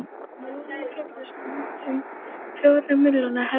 hjá miðveldunum féllu samtals um fjórir milljónir hermanna